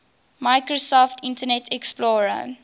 microsoft internet explorer